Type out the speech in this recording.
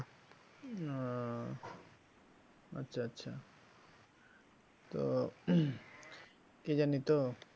ও আচ্ছা আচ্ছা তো কি জানি তো